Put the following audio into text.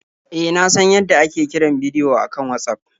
E, na san yadda ake kiran bidiyo a kan Watsaf.